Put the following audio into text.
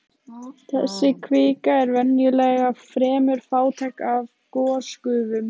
Þessi kvika er venjulega fremur fátæk af gosgufum.